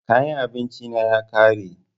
Kayan abinci na ya ƙare